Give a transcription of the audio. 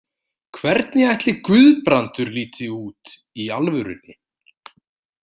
Hvernig ætli Guðbrandur líti út í alvörunni?